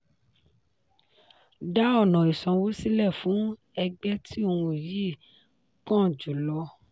dá ọ̀nà ìsanwó sílẹ̀ fún ẹgbẹ́ tí ohun yìí kàn jù lọ.